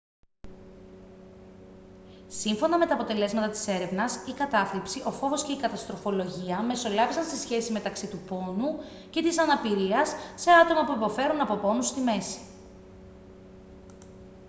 σύμφωνα με τα αποτελέσματα της έρευνας η κατάθλιψη ο φόβος και η καταστροφολογία μεσολάβησαν στη σχέση μεταξύ του πόνου και της αναπηρίας σε άτομα που υποφέρουν από πόνους στη μέση